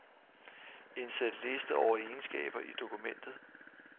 Indsæt liste over egenskaber i dokumentet.